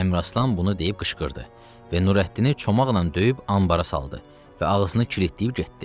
Əmraslan bunu deyib qışqırdı və Nurəddini çomaqla döyüb anbara saldı və ağzını kilitləyib getdi.